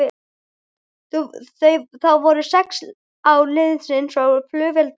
Þá voru sex ár liðin frá fullveldi landsins.